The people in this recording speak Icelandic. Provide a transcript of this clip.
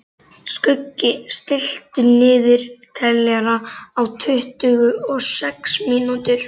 Skuggi, stilltu niðurteljara á tuttugu og sex mínútur.